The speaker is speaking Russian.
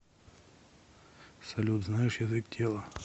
салют знаешь язык тела